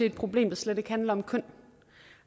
et problem der slet ikke handler om køn